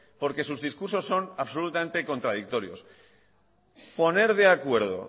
porque sus discursos son absolutamente contradictorios poner de acuerdo